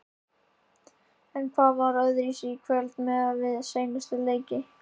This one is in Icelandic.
En hvað var öðruvísi í kvöld miðað við seinustu leiki?